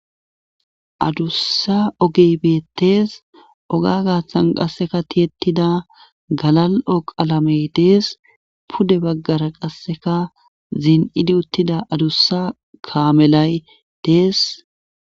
adussa ogeybettees oga gaaththan qasseka tiyettida galal7o qalamey dees pude baggara qasseka zin7idi uttida adussa kaamelay dees